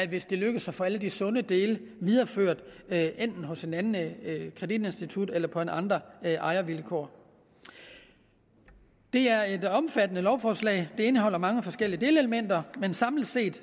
hvis det lykkes at få alle de sunde dele videreført enten hos et andet kreditinstitut eller på andre ejervilkår det er et omfattende lovforslag indeholder mange forskellige delelementer men samlet set